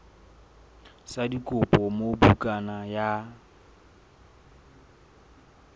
sa dikopo moo bukana ya